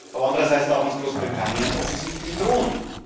Aber andererseits darf uns Großbritannien offensichtlich drohen.